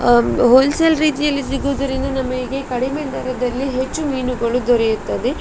ಹಮ್ wholesale ರೀತಿಯಲ್ಲಿ ಸಿಗುವುದರಿಂದ ನಮಗೆ ಕಡಿಮೆ ದರದಲ್ಲಿ ಹೆಚ್ಚು ಮೀನುಗಳು ದೊರೆಯುತ್ತವೆ.